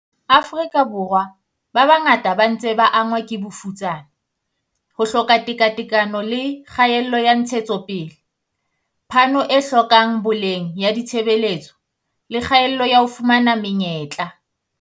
Borwa a mangata a ntse a angwa ke bofutsana, ho hloka tekatekano le kgaello ya ntshetsopele, phano e hlokang boleng ya ditshebeletso le kgaello ya ho fumana me nyetla.